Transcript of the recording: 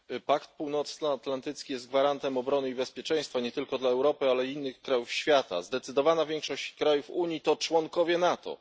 Panie Przewodniczący! Pakt Północnoatlantycki jest gwarantem obrony i bezpieczeństwa nie tylko dla Europy, ale i innych krajów świata. Zdecydowana większość krajów Unii to członkowie NATO.